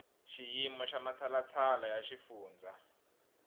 xiyimo xa matshalatshala ya xifundza